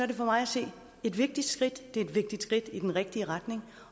det for mig at se et vigtigt skridt det er et vigtigt skridt i den rigtige retning